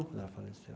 Quando ela faleceu.